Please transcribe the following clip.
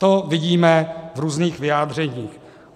To vidíme v různých vyjádřeních.